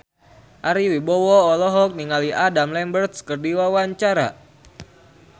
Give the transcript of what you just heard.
Ari Wibowo olohok ningali Adam Lambert keur diwawancara